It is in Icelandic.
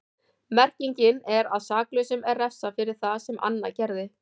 Merkingin er að saklausum er refsað fyrir það sem annar gerði.